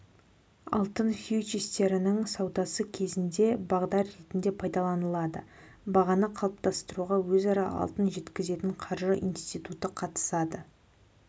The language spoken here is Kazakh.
алтын фьючерстерінің саудасы кезінде бағдар ретінде пайдаланылады бағаны қалыптастыруға өзара алтын жеткізетін қаржы институты қатысады